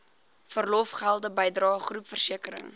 verlofgelde bydrae groepversekering